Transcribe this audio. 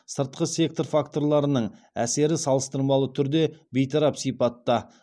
сыртқы сектор факторларының әсері салыстырмалы түрде бейтарап сипатта